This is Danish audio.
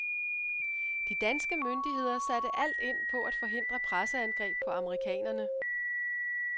De danske myndigheder satte alt ind på at forhindre presseangreb på amerikanerne.